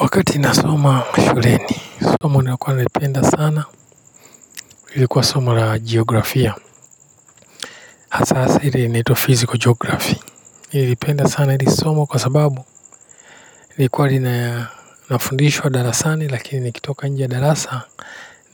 Wakati nasoma shuleni, somo nilikuwa naipenda sana, ilikuwa somo la geografia, hasa hasa ile inaitwa physical geography, niliipenda sana hili somo kwa sababu ilikuwa lina nafundishwa darasani lakini nikitoka njia darasa